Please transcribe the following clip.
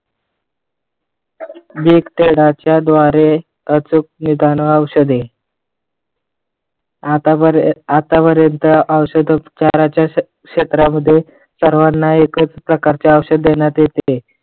तळाच्या द्वारे अचूक औषध आतापर्यंत औषध उपचाराच्या क्षेत्रामध्ये सर्वांना एकच प्रकारचे औषध देण्यात येते.